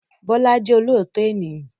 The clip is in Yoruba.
Bọ́lá jẹ́ olóòótọ́ ènìyàn.